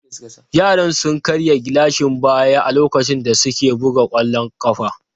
Yaran sun karya gilashin baya a lokacin da suke buga kwallon kafa.